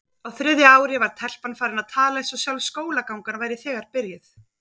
Á þriðja ári var telpan farin að tala eins og sjálf skólagangan væri þegar byrjuð.